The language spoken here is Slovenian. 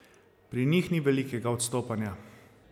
Pri njih ni velikega odstopanja.